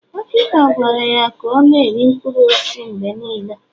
dọkịta gwara ya ka ọ na-eri mkpụrụ osisi mgbe niile